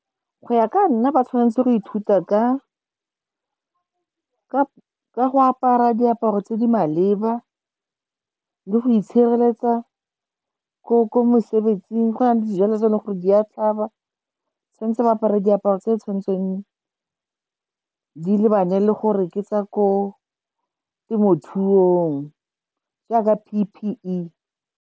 Go ya ka nna ba tshwanetse go ithuta ka go apara diaparo tse di maleba le go itshireletsa ko mosebetsing go na le dijalo tse e leng gore di a tlhaba ba tshwanetse go apara diaparo tse di tshwanetseng di lebane le gore ke tsa ko temothuong jaaka P_P_E.